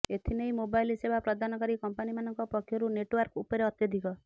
ଏଥିନେଇ ମୋବାଇଲ ସେବା ପ୍ରଦାନକାରୀ କମ୍ପାନୀମାନଙ୍କ ପକ୍ଷରୁ ନେଟୱାର୍କ ଉପରେ ଅତ୍ୟଧିକ